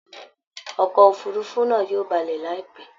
Ọkọ̀ òfurufú náa yóò balẹ̀ láìpẹ́